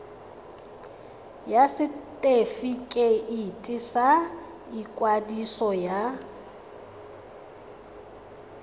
ya setefikeiti sa ikwadiso ya